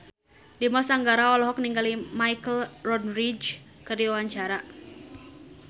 Dimas Anggara olohok ningali Michelle Rodriguez keur diwawancara